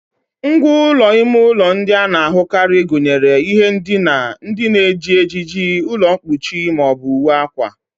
Ngwá ụlọ ime ụlọ ndị a na-ahụkarị gụnyere ihe ndina, ndị na-eji ejiji, ụlọ mkpuchi ma ọ bụ uwe akwa